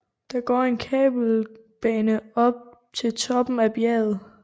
Der går en kabelbane op til toppen af bjerget